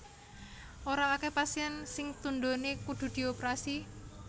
Ora akeh pasien sing tundhone kudu dioprasi